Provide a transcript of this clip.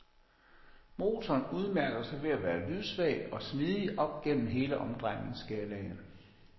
Motoren udmærker sig ved at være lydsvag og smidig op gennem hele omdrejningsskalaen.